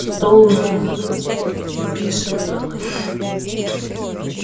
стол надо накрыть твёрдо сказала я